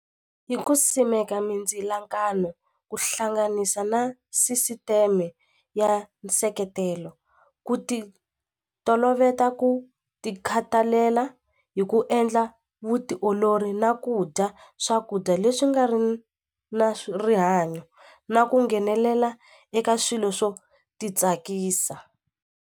Yi ku simeka mindzilakano ku hlanganisa na sisiteme ya nseketelo ku ti toloveta ku ti khathalela hi ku endla vutiolori na ku dya swakudya leswi nga ri na rihanyo na ku nghenelela eka swilo swo ti tsakisa.